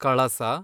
ಕಳಸ